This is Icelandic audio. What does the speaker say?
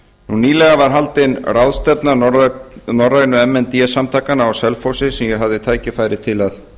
nýlega var haldin ráðstefna norrænu m n d samtakanna á selfossi sem ég hafði tækifæri til að